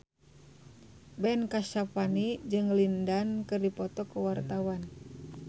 Ben Kasyafani jeung Lin Dan keur dipoto ku wartawan